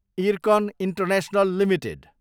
IRCON International Ltd